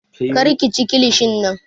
Kar ka chi kilishin nan!